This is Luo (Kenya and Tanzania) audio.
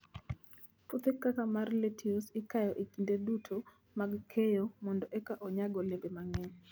Puothe kaka mar lettuce ikayo e kinde duto mag keyo mondo eka onyag olembe mang'eny.